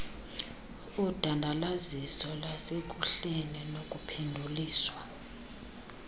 udandalaziso lasekuhleni nokuphenduliswa